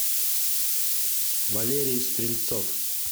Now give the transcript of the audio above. валерий стрельцов